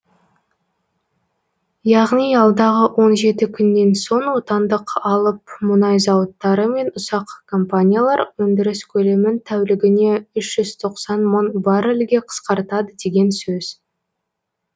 яғни алдағы он жеті күннен соң отандық алып мұнай зауыттары мен ұсақ компаниялар өндіріс көлемін тәулігіне үш жүз тоқсан мың баррелге қысқартады деген сөз